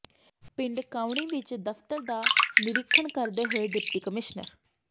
ਪਿੰਡ ਕਾਉਣੀ ਵਿੱਚ ਦਫ਼ਤਰ ਦਾ ਨਿਰੀਖਣ ਕਰਦੇ ਹੋਏ ਡਿਪਟੀ ਕਮਿਸ਼ਨਰ